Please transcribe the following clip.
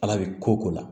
Ala bɛ ko ko la